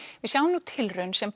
við sjáum nú tilraun sem